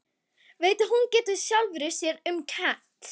Veit að hún getur sjálfri sér um kennt.